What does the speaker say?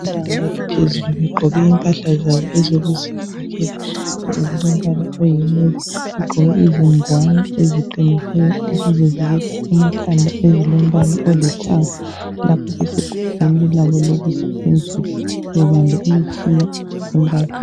Bebanga eliphezulu begqoke impahla zabo ezokuzivikela ezilombala oyi navy begqoke izingwane eziqinileyo ezivikela amakhanda ezilombala olithanga lapho besegumbini labo lokusebenzela bebambe imitshina embalwa.